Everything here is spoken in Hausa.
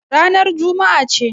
Ranar Juma'a ce.